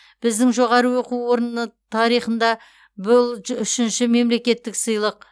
біздің жоғары оқу орнының тарихында бұл үшінші мемлекеттік сыйлық